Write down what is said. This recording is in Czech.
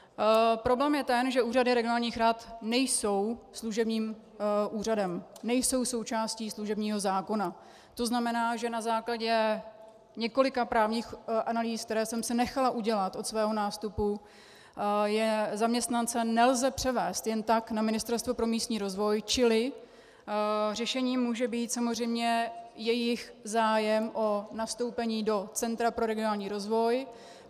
Problém je ten, že úřady regionálních rad nejsou služebním úřadem, nejsou součástí služebního zákona, to znamená, že na základě několika právních analýz, které jsem si nechala udělat od svého nástupu, zaměstnance nelze převést jen tak na Ministerstvo pro místní rozvoj, čili řešením může být samozřejmě jejich zájem o nastoupení do Centra pro regionální rozvoj.